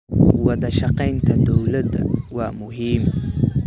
Wadashaqeynta dowladda waa muhiim.